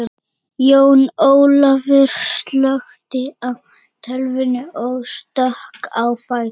Jón Ólafaur slökkti á tölvunni og stökk á fætur.